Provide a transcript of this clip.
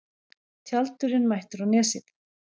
Tjaldurinn mættur á Nesið